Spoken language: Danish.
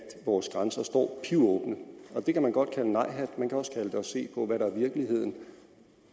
vores grænser står pivåbne det kan man godt kalde nejhat man kan også kalde det at se på hvad der er virkeligheden